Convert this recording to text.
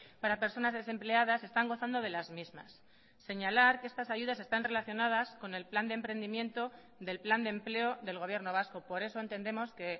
para personas desempleadas están gozando de las mismas señalar que estas ayudas están relacionadas con el plan de emprendimiento del plan de empleo del gobierno vasco por eso entendemos que